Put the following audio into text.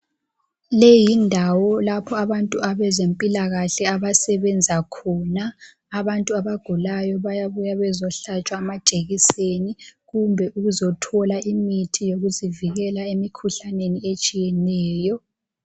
Leyi yindawo lapho abantu abezempilakahle abasebenza khona. Abantu abagulayo bayabuya bezohlatshwa amajekiseni kumbe ukuzothola imithi yokuzivikela emikhuhlaneni etshiyeneyo.